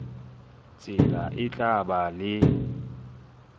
tsela e tla ba le